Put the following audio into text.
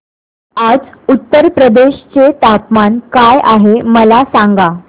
आज उत्तर प्रदेश चे तापमान काय आहे मला सांगा